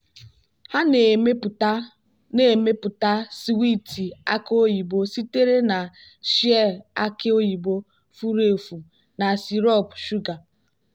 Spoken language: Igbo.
ha na-emepụta na-emepụta swiiti aki oyibo sitere na shei aki oyibo furu efu na sirop shuga.